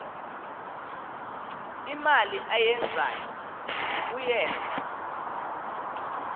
imali ayenzayo uyenza